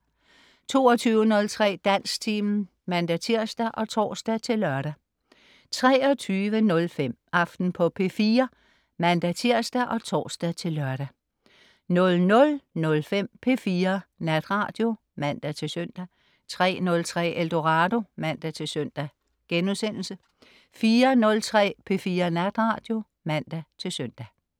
22.03 Dansktimen (man-tirs og tors-lør) 23.05 Aften på P4 (man-tirs og tors-lør) 00.05 P4 Natradio (man-søn) 03.03 Eldorado (man-søn)* 04.03 P4 Natradio (man-søn)